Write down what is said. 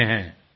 જી સાહેબ